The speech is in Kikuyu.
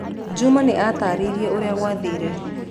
Juma nĩ aataarĩirie ũrĩa gwathire.